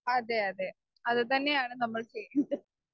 Speaker 1 അതെ അതെ അതുതന്നെയാണ് നമ്മൾ ചെയ്യേണ്ടത്.